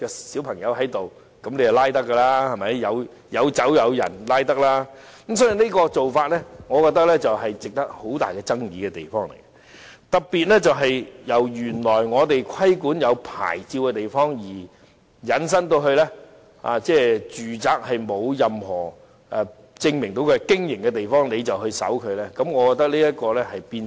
所以，我覺得這個做法會引起很大爭議。特別是，由原來我們規管有牌照的地方，引申到沒有證據證明有賣酒的住宅，也可以搜查。